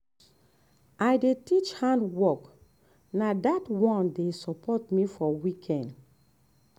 i dey teach hand work na that one dey support me for weekend